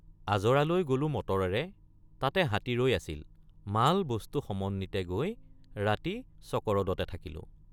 আজৰালৈ গলো মটৰেৰে তাতে হাতী ৰৈ আছিল মালবস্তু সমন্বিতে গৈ ৰাতি চকৰদতে থাকিলোঁ।